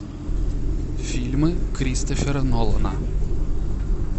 фильмы кристофера нолана